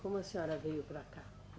Como a senhora veio para cá?